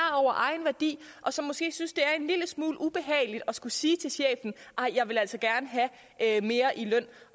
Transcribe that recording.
over egen værdi og som måske synes at det er en lille smule ubehageligt at skulle sige til chefen ej jeg vil altså gerne have mere i løn